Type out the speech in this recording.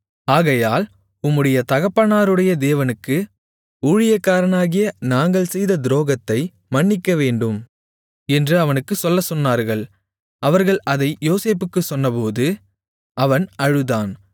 ஆகையால் உம்முடைய தகப்பனாருடைய தேவனுக்கு ஊழியக்காரராகிய நாங்கள் செய்த துரோகத்தை மன்னிக்கவேண்டும் என்று அவனுக்குச் சொல்லச் சொன்னார்கள் அவர்கள் அதை யோசேப்புக்குச் சொன்னபோது அவன் அழுதான்